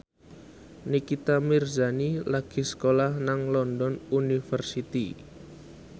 Nikita Mirzani lagi sekolah nang London University